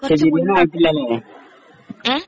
പക്ഷേ ഏഹ്